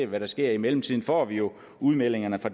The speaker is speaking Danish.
hvad der sker i mellemtiden får vi jo udmeldingerne fra